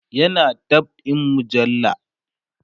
yana dab'in mujalla